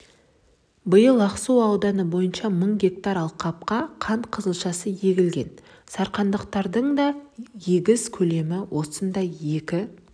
биыл ақсу ауданы бойынша мың гектар алқапқа қант қызылшасы егілген сарқандықтардың да егіс көлемі осындай екі